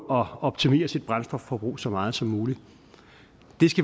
optimere sit brændstofforbrug så meget som muligt